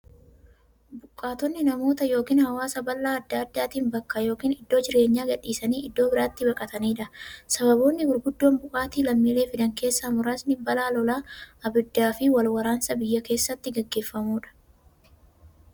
Buqqaatonni namoota yookiin hawaasa balaa adda addaatiin bakka yookiin iddoo jireenyaa gadhiisanii iddoo birootti baqataniidha. Sababoonni gurguddoon buqqaatii lammiilee fidan keessaa muraasni; balaa lolaa, ibiddaafi wal waraansa biyya keessatti gaggeeffamuudha.